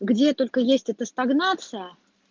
где только есть это стагнация